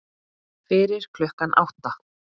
Fyrir klukkan átta?